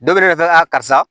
Dɔ bɛ ne yɛrɛ karisa